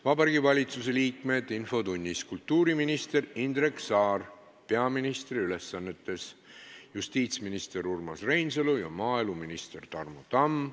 Vabariigi Valitsuse liikmetest on infotunnis kultuuriminister Indrek Saar peaministri ülesannetes, justiitsminister Urmas Reinsalu ja maaeluminister Tarmo Tamm.